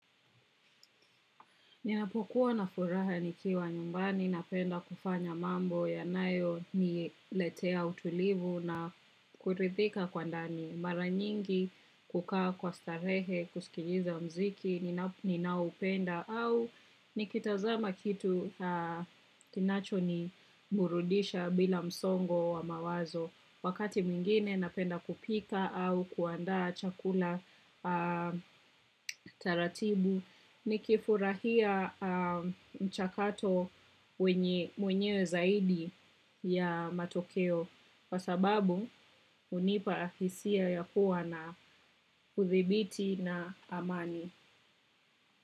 Ninapokuwa na furaha nikiwa nyumbani, napenda kufanya mambo yanayo niletea utulivu na kurithika kwa ndani, mara nyingi kukaa kwa starehe, kusikiliza mziki ninaoupenda au nikitazama kitu kinacho niburudisha bila msongo wa mawazo. Wakati mwingine napenda kupika au kuandaa chakula taratibu nikifurahia mchakato mwenyewe zaidi ya matokeo. Kwa sababu hunipa afisia ya kuwa na uthibiti na amani.